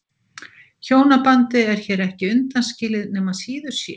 Hjónabandið er hér ekki undanskilið nema síður sé.